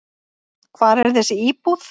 Hvar er þessi íbúð?